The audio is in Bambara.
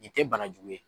Nin tɛ bana jugu ye